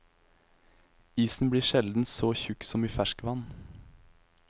Isen blir sjelden så tykk som i ferskvann.